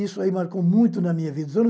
Isso ae marcou muito na minha vida.